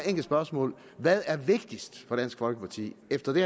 enkelt spørgsmål hvad er vigtigst for dansk folkeparti efter det